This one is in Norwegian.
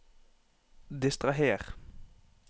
distraher